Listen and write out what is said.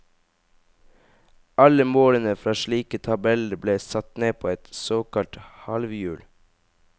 Alle målene fra slike tabeller ble satt ned på et såkalt halvhjul.